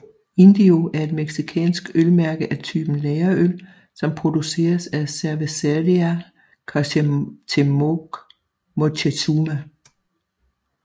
Indio er et mexicansk ølmærke af type lagerøl som produceres af Cervecería Cuauhtémoc Moctezuma